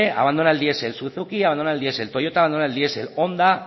abandona el diesel suzuki abandona el diesel toyota abandona el diesel honda